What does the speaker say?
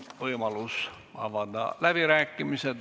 On võimalus avada läbirääkimised.